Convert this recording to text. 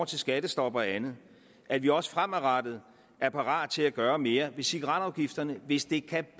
til skattestop og andet at vi også fremadrettet er parat til at gøre mere ved cigaretafgifterne hvis det kan